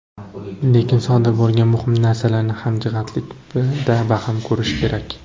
Lekin sodir bo‘lgan muhim narsalarni hamjihatlikda baham ko‘rish kerak.